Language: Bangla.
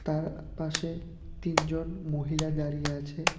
পাশে তিনজন মহিলা দাঁড়িয়ে আছে।